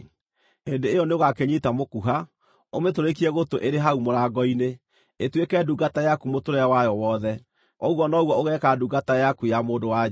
hĩndĩ ĩyo nĩũgakĩnyiita mũkuha, ũmĩtũrĩkie gũtũ ĩrĩ hau mũrango-inĩ, ĩtuĩke ndungata yaku mũtũũrĩre wayo wothe. Ũguo noguo ũgeeka ndungata yaku ya mũndũ-wa-nja.